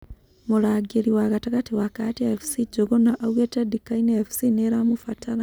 Mũragĩri wa gatagate wa Kahatia Fc Njũgũna augĩte Ndkaine Fc nĩiramũbatara